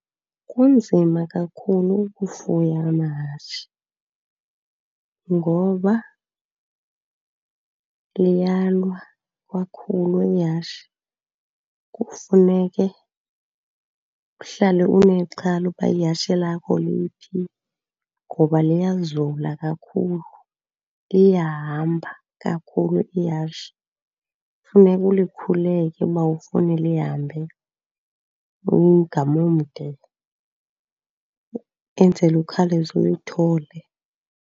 Kunzima kakhulu ukufuya amahashe ngoba liyalwa kakhulu ihashe. Kufuneke uhlale unexhala uba ihashe lakho liphi ngoba liyazula kakhulu, liyahamba kakhulu ihashe. Kufuneka ulikhuleke uba awufuni lihambe umgama omde enzela ukhawuleze ulithole.